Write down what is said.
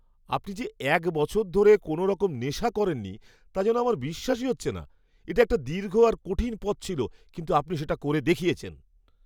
আপনি যে এক বছর ধরে কোনওরকম নেশা করেননি, তা যেন আমার বিশ্বাসই হচ্ছে না! এটা একটা দীর্ঘ আর কঠিন পথ ছিল, কিন্তু আপনি সেটা করে দেখিয়েছেন!